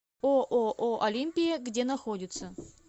ооо олимпия где находится